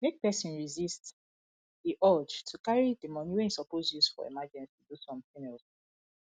make person resist di urge to carry di money wey im suppose use for emergency do something else